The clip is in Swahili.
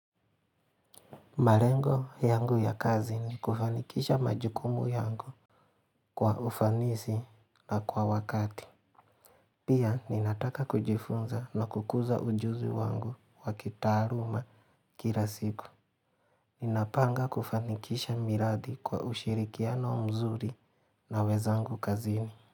Malengo yangu ya kazi ni kufanikisha majukumu yangu kwa ufanisi na kwa wakati. Pia ninataka kujifunza na kukuza ujuzi wangu wakitaaluma kila siku. Ninapanga kufanikisha miradi kwa ushirikiano mzuri na wenzangu kazini.